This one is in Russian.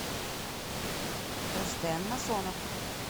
рустем насонов